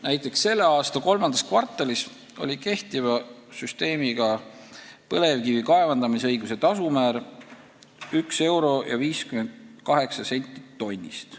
Näiteks selle aasta III kvartalis oli kehtiva süsteemi kohaselt põlevkivi kaevandamisõiguse tasumäär 1 euro ja 58 senti tonni eest.